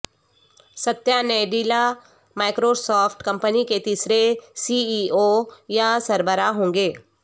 ستیا Nadella Microsoft company کے تیسرے C E O یا سربراہ ہوں گے